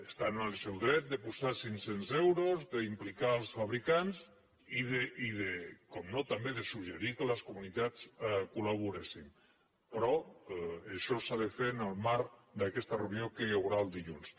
estan en el seu dret de posar cinc·cents euros d’implicar els fabricants i per descomptat de suggerir que les comunitats col·laboréssim però això s’ha de fer en el marc d’aquesta reunió que hi haurà el dilluns